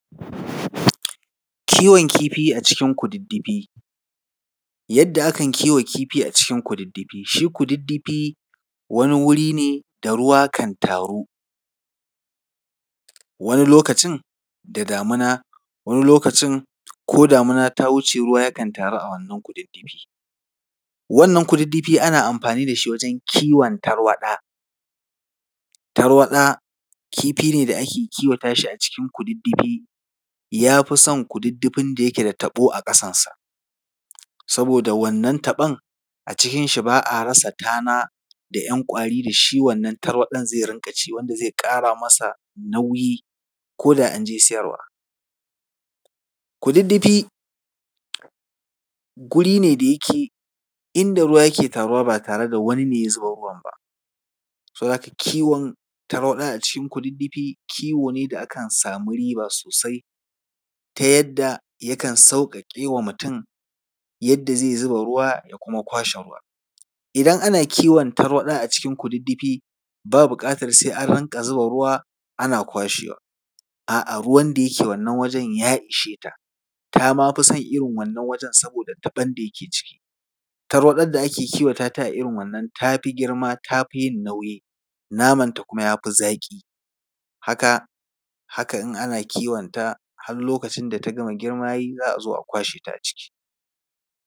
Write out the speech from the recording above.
Kiwon kifi a cikin kududdufi. Yadda akan kiwa kifi a cikin kududdufi. Shi kududdufi, wani wuri ne da ruwa kan taru, wani lokacin da damina, wani lokacin ko da damina ta wuce, ruwa kan taru a wannan kududdufi. Wannan kududdufi ana amfani da shi wajen kiwon tarwaɗa. Tarwaɗa kifi ne da ake kiwonshi a cikin kududdufi. Ya fi son kududdufin da yake da taɓo a ƙasansa saboda wannan taɓon, a cikinshi ba a rasa tana da ‘yan ƙwari da shi wannan tarwaɗan zai rinƙa ci wanda zai ƙara masa nauyi, ko da an je siyarwa. Kududdufi guri ne da yake inda ruwa ke taruwa ba tare da wani ne ya zuba ruwan ba. Saboda haka kiwon tarwaɗa a cikin kududdufi, kiwo ne da akan samu riba sosai, ta yadda yakan sauƙaƙe wa mutum yadda zai zuba ruwa da kuma kwashe ruwa. Idan ana kiwon tarwaɗa a cikin kududdufi, ba buƙatar sai an rinƙa zuba ruwa ana kwashewa. A’a, ruwan da yake wannan wurin ya ishe ta, ta ma fi son irin wannan wurin saboda taɓon da yake ciki. Tarwaɗar da ake kiwata ta a irin wannan ta fi girma, ta fi yin nauyi, namanta kuma ya fi zafi. Haka, haka in ana kiwonta, har lokacin da ta gama girma ya yi za a zo a kwashe ta a ciki.